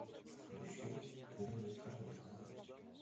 включи лиза корнилова